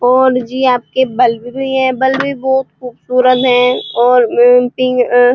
और जी आपके बल्ब भी हैं। बल्ब भी बोहोत खूबसूरत हैं और --